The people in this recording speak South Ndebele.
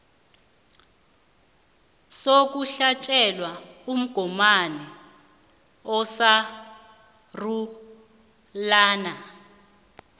sokuhlatjelwa umgomani osarulana